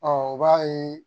Ɔ u b'a ye